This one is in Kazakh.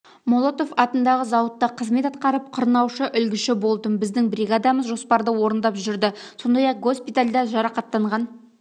молотов атындағы зауытта қызмет атқарып қырнаушы-үлгіші болдым біздің бригадамыз жоспарды орындап жүрді сондай-ақ госпитальда жарақаттанған